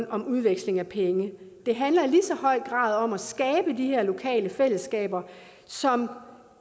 om udveksling af penge det handler i lige så høj grad om at skabe de her lokale fællesskaber som